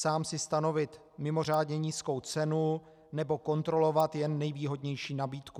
Sám si stanovit mimořádně nízkou cenu nebo kontrolovat jen nejvýhodnější nabídku.